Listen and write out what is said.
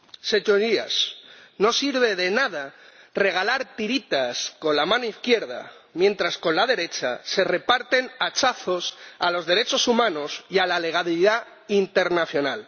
Señorías, no sirve de nada regalar tiritas con la mano izquierda mientras con la derecha se reparten hachazos a los derechos humanos y a la legalidad internacional.